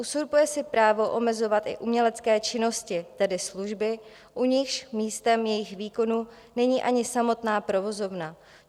Uzurpuje si právo omezovat i umělecké činnosti, tedy služby, u nichž místem jejich výkonu není ani samotná provozovna.